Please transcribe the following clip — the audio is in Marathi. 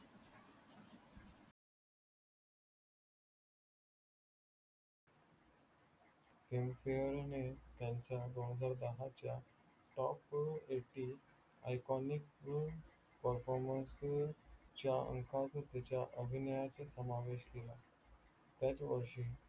film fare ने त्यांच्या दोन हजार दहाच्या top eigthen iconic performance च्या अंकात त्याच्या अभिनयाचा समावेश केला